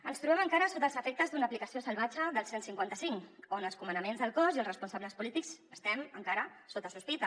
ens trobem encara sota els efectes d’una aplicació salvatge del cent i cinquanta cinc on els comandaments del cos i els responsables polítics estem encara sota sospita